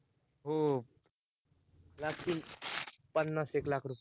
हम्म लागतील, पन्नास- एक लाख रूपए